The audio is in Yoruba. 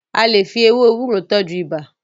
a lẹ fí ewé ewúro tọjú ibà.